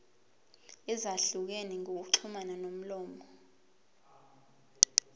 ezahlukene zokuxhumana ngomlomo